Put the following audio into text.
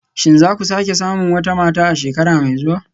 Shin za ku sake samun wata mata a shekara mai zuwa